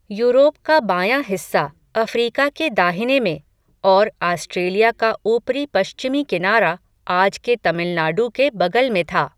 Europe का बायाँ हिस्सा, अफ़्रीका के दाहिने में, और आस्ट्रेलिया का ऊपरी पश्चिमी किनारा, आज के तमिलनाडु के बगल में था